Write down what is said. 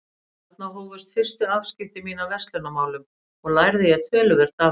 Þarna hófust fyrstu afskipti mín af verslunarmálum og lærði ég töluvert af þeim.